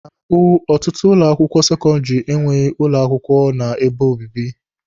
Na mbụ, ọtụtụ ụlọ akwụkwọ sekọndịrị enweghị ụlọ akwụkwọ a na-ebi ebi.